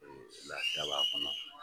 Lafiya b'a kɔnɔ